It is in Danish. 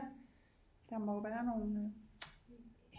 Ja der må jo være nogle